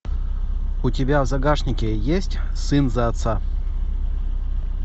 у тебя в загашнике есть сын за отца